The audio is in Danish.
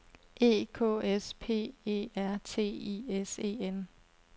E K S P E R T I S E N